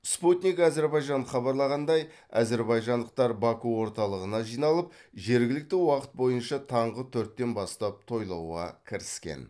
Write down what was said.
спутник әзербайжан хабарлағандай әзербайжандықтар баку орталығына жиналып жергілікті уақыт бойынша таңғы төрттен бастап тойлатуға кіріскен